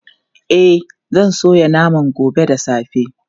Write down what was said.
E, zan soya naman gobe da safe.